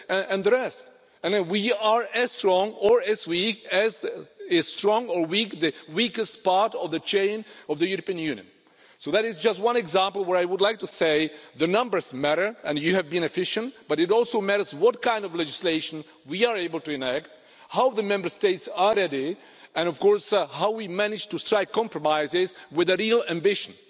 and the rest, and we are as strong or as weak as the weakest part of the chain of the European Union. So that is just one example where I would like to say the numbers matter and you have been efficient, but it also matters what kind of legislation we are able to enact, how the Member States are ready and, of course, how we manage to strike compromises with real ambition.